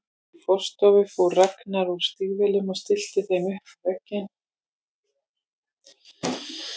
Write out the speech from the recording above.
Í forstofunni fór Ragnar úr stígvélunum og stillti þeim upp við vegginn.